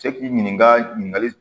Cɛ k'i ɲininka ɲininkali